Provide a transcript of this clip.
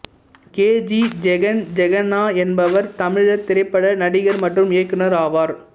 K G Jagan Jagannath என்பவர் தமிழ் திரைப்பட நடிகர் மற்றும் இயக்குனர் ஆவார்